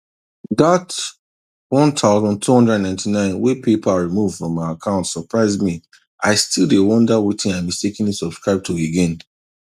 that one thousand two hundred and ninety nine wey paypal remove from my account surprise me i still dey wonder wetin i mistakenly subscribe to again